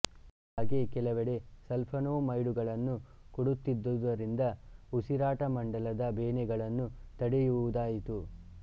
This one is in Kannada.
ಹಾಗೇ ಕೆಲವೆಡೆ ಸಲ್ಫೋನೇಮೈಡುಗಳನ್ನು ಕೊಡುತ್ತಿದ್ದುದರಿಂದ ಉಸಿರಾಟ ಮಂಡಲದ ಬೇನೆಗಳನ್ನು ತಡೆವುದಾಯಿತು